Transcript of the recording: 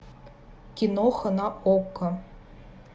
киноха на окко